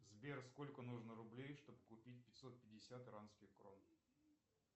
сбер сколько нужно рублей чтобы купить пятьсот пятьдесят иранских крон